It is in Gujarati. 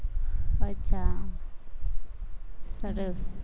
અચ્છા, સરસ